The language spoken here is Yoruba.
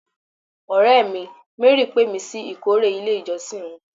Ọ̀rẹ́ mi, Mary pé mi sí ìkórè ilé ìjọsìn wọn